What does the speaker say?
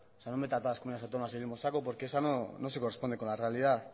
sea no meta a todas las comunidades autónomas en el mismo saco porque eso no se corresponde con la realidad